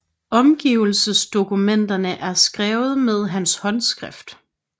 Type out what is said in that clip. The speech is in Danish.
Overgivelsesdokumenterne er skrevet med hans håndskrift